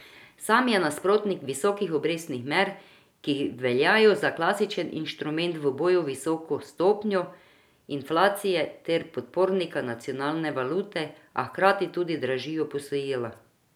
Sam je nasprotnik visokih obrestnih mer, ki veljajo za klasičen inštrument v boju z visoko stopnjo inflacije ter podpornika nacionalne valute, a hkrati tudi dražijo posojila.